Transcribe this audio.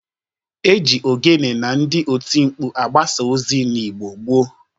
E ji ogene na ndị otimkpu agabasa ozi n'Igbo gboo.